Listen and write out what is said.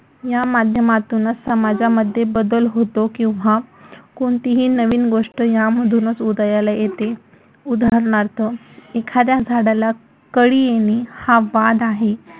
या माध्यमातूनच समाजामध्ये बदल होतो किंवा कोणतीही नवीन गोष्ट यामधूनच उदयाला येते. उदाहरणार्थ, एखाद्या झाडाला कळी येणे हा वाद आहे.